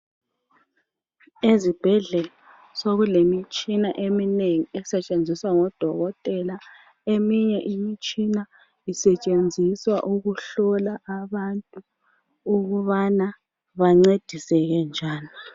Ezibhedlela sekulemitshina eminengi esetshenziswa ngodokotela eminye imitshina isetshenziswa ukuhlola abantu ukubana bancediseke njani.